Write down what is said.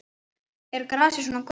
Er grasið svona gott?